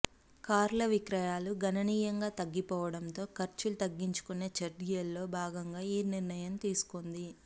కార్ల విక్రయాలు గణనీయంగా తగ్గిపోవడంతో ఖర్చులు తగ్గించుకునే చర్యల్లో భాగంగా ఈ నిర్ణయం తీసుకొంది